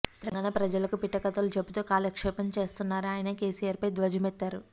తెలంగాణ ప్రజలకు పిట్టకథలు చెబుతూ కాలక్షేపం చేస్తున్నారని ఆయన కేసీఆర్పై ధ్వజమెత్తారు